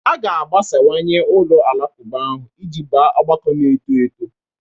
A ga-agbasawanye ụlọ alakụba ahụ iji baa ọgbakọ na-eto eto.